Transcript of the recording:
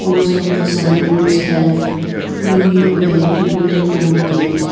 most of the signboards have union bank written on it.